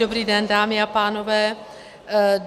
Dobrý den, dámy a pánové.